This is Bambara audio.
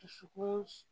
Dusukun